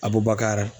A bɔbaga